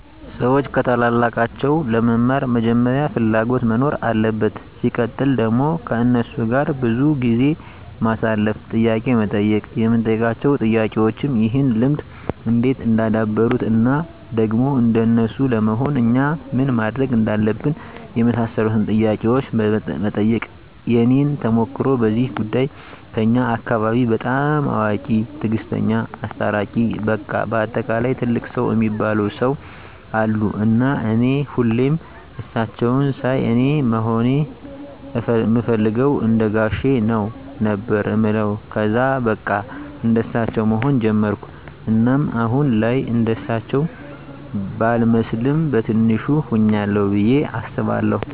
ሰዎች ከታላላቃቸው ለመማር መጀመሪያ ፍላጎት መኖር አለበት ሲቀጥል ደግሞ ከነሱ ጋር ብዙ ጊዜ ማሳለፍ፣ ጥያቄ መጠየቅ የምንጠይቃቸው ጥያቄዎችም ይህን ልምድ እንዴት እንዳደበሩት እና ደግሞ እንደነሱ ለመሆን እኛ ምን ማድረግ እንዳለብን የመሳሰሉትን ጥያቄዎች መጠየቅ። የኔን ተሞክሮ በዚህ ጉዳይ ከኛ አካባቢ በጣም አዋቂ፣ ትግስተኛ፣ አስታራቂ በቃ በአጠቃላይ ትልቅ ሰው እሚባሉ ሰው አሉ እና እኔ ሁሌም እሳቸውን ሳይ አኔ መሆን እምፈልገው እንደጋሼ ነው ነበር እምለው ከዛ በቃ እንደሳቸው መሆን ጀመርኩ እናም አሁን ላይ እርሳቸው ባልመስልም በቲንሹ ሁኛለሁ ብዬ አስባለሁ።